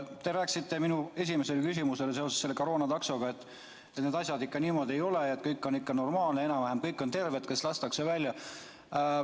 Te rääkisite seoses minu esimese küsimusega, selle koroonataksoga, et need asjad ikka niimoodi ei ole, kõik on normaalne, enam-vähem kõik on terved, kes lastakse välja.